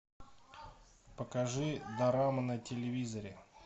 покажи дорама на телевизоре